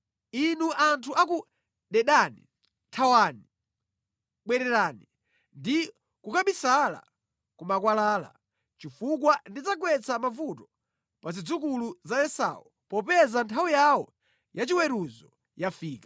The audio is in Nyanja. Inu anthu a ku Dedani, thawani, bwererani ndi kukabisala ku makwalala chifukwa ndidzagwetsa mavuto pa zidzukulu za Esau popeza nthawi yawo ya chiweruzo yafika.